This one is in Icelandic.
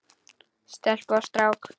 Stelpu og strák.